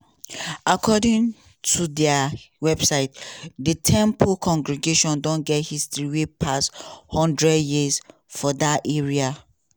according ot dia website di temple congregation don get history wey pass one hundred years for dat area.